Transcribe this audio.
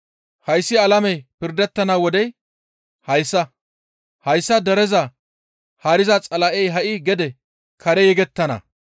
Hayssi alamey pirdettana wodey hayssa; hayssa dereza haariza Xala7ey ha7i gede kare yegettana.